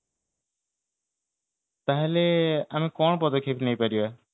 ତାହାଲେ ଆମେ କଣ ପଦକ୍ଷେପ ନେଇ ପାରିବା